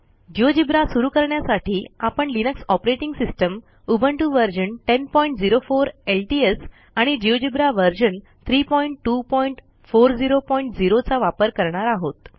GeoGebra सुरू करण्यासाठी आपण Linux operating system Ubuntu version 1004 LTS आणि जिओजेब्रा व्हर्शन 32400 चा वापर करणार आहोत